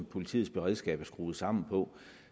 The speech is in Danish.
politiets beredskab er skruet sammen på